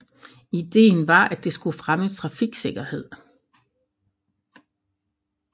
Ideen var at det skulle fremme trafiksikkerhed